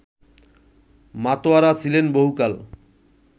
মাতোয়ারা ছিলেন বহুকাল